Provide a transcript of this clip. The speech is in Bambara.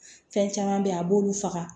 Fɛn caman bɛ yen a b'olu faga